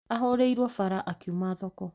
Ahũrĩirwo bara akiuma thoko